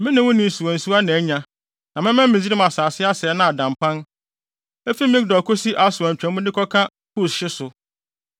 me ne wo ne wo nsuwansuwa na anya, na mɛma Misraim asase asɛe na ada mpan, efi Migdol kosi Aswan twa mu de kɔka Kus hye so.